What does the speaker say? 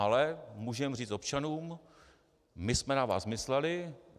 Ale můžeme říct občanům: My jsme na vás mysleli.